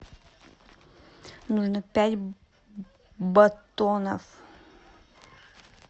нужно пять батонов